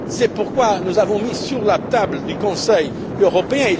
C'est pourquoi nous l'avons mis sur la table du Conseil européen.